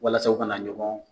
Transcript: Walasa u kana ɲɔgɔn